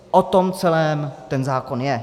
O tom celém ten zákon je.